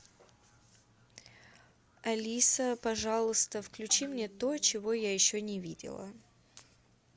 алиса пожалуйста включи мне то чего я еще не видела